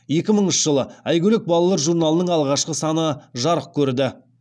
екі мыңыншы жылы айгөлек балалар журналының алғашқы саны жарық көрді